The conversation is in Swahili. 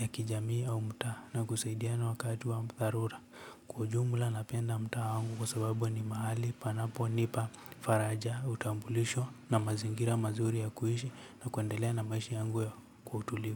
ya kijamii au mtaa na kusaidiana wakati wa dharura. Kwa ujumla napenda mtaa wangu kwa sababu ni mahali panaponipa faraja utambulisho na mazingira mazuri ya kuhishi na kuendelea na maishi yangu ya kwa utulivu.